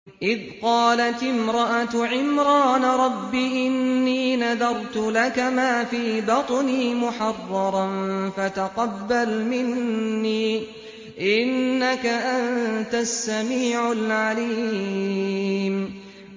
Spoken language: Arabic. إِذْ قَالَتِ امْرَأَتُ عِمْرَانَ رَبِّ إِنِّي نَذَرْتُ لَكَ مَا فِي بَطْنِي مُحَرَّرًا فَتَقَبَّلْ مِنِّي ۖ إِنَّكَ أَنتَ السَّمِيعُ الْعَلِيمُ